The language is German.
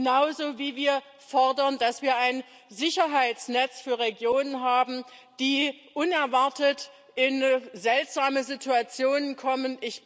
Genauso wie wir fordern, dass wir ein Sicherheitsnetz für Regionen haben, die unerwartet in seltsame Situationen kommen.